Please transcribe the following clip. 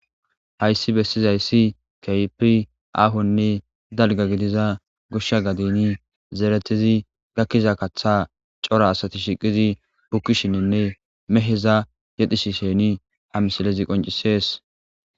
hayssi bessizayssi keehippe aahonne dalga gidiza goshsha gadeni zeeretidi gakkiza kaththa cora asati shiqidi bukkisheninne meheza yedhishishini ha misilezi qoncisees